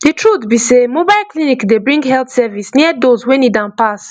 the truth be sey mobile clinic dey bring health service near those wey need am pass